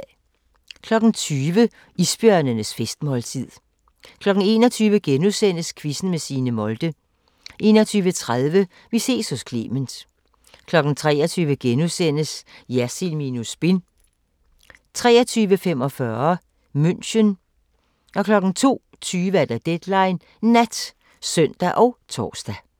20:00: Isbjørnenes festmåltid 21:00: Quizzen med Signe Molde * 21:30: Vi ses hos Clement 23:00: Jersild minus spin * 23:45: München 02:20: Deadline Nat (søn og tor)